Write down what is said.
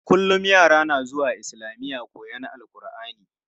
Kullum yara na zuwa islamiya koyon AlƘurʼani.